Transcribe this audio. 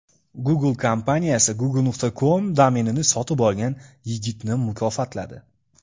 Google kompaniyasi Google.com domenini sotib olgan yigitni mukofotladi.